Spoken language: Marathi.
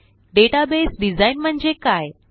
डेटाबेस डिझाइन म्हणजे काय